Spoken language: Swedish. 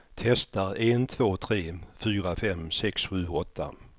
Testar en två tre fyra fem sex sju åtta.